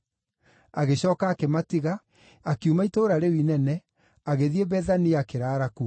Agĩcooka akĩmatiga, akiuma itũũra rĩu inene, agĩthiĩ Bethania, akĩraara kuo.